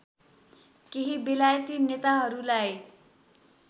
केही बेलायती नेताहरूलाई